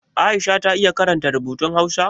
Aisha ta iya karanta rubutun Hausa?